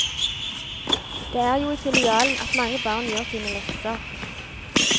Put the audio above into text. Det er jo i filialen at mange barn gjør sine lekser.